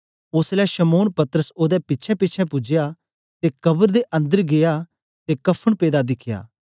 ओसलै शमौन पतरस ओदे पिछेंपिछें पूज्या ते कब्र दे अंदर गीया ते कफ़न पेदा दिखया